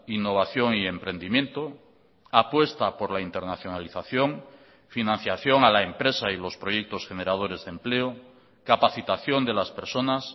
innovación y emprendimiento apuesta por la internacionalización financiación a la empresa y los proyectos generadores de empleo capacitación de las personas